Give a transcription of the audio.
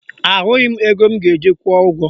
Ahụghị m ego m ga-eji kwụọ ụgwọ